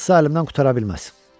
Sağdırsa əlimdən qutara bilməz.